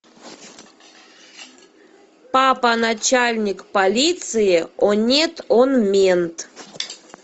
папа начальник полиции о нет он мент